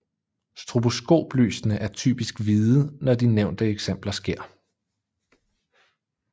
Stroboskoplysene er typisk hvide når de nævnte eksempler sker